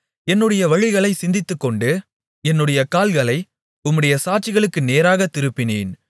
என்னுடைய வழிகளைச் சிந்தித்துக்கொண்டு என்னுடைய கால்களை உம்முடைய சாட்சிகளுக்கு நேராகத் திருப்பினேன்